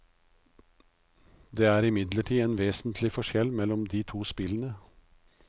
Det er imidlertid en vesentlig forskjell mellom de to spillene.